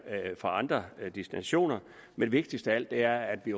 fra andre destinationer men vigtigst af alt er at vi